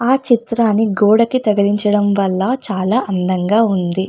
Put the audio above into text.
ఆ చిత్రాన్ని గోడకి తగిలించడం వల్ల చాలా అందంగా ఉంది.